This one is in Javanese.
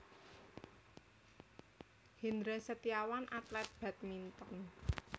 Hendra Setiawan atlet badminton